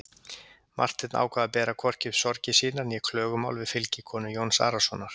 Marteinn ákvað að bera hvorki upp sorgir sínar né klögumál við fylgikonu Jóns Arasonar.